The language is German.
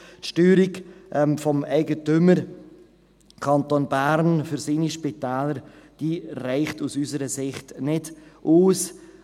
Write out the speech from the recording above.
Die Steuerung des Eigentümers Kanton Bern für seine Spitäler reicht aus unserer Sicht nicht aus.